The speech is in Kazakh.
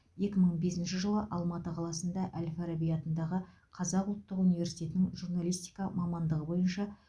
екі мың бесінші жылы алматы қаласында әл фараби атындағы қазқ ұлттық университетінің журналистика мамандығы бойынша